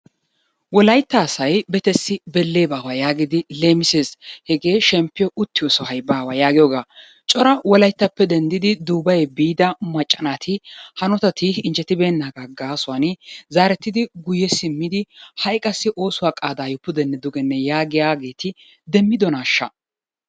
Wolaytta asay betessi belle baawa yaagidi leemmissees, hegee shemppiyo uttiyosay baawa yaagiyogaa cora wolayttappe denddidi duubaye biida macca naati hanotati injjettibeenaagan gaasuwan zaarettidi guyye simmidi haiy qassi oosuwa qaadaayo puddenne duge yaagiyaageti demmiddonaasha?